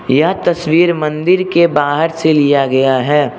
यह तस्वीर मंदिर के बाहर से लिया गया है।